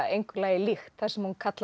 engu lagi líkt þar sem hún kallar